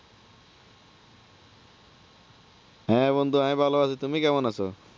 হ্যাঁ বন্ধু ভালো আছি, তুমি কেমন আছো?